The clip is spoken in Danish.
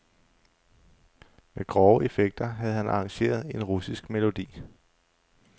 Med grove effekter havde han arrangeret en russisk melodi.